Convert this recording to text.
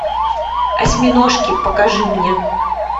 осьминожки покажи мне